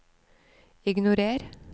ignorer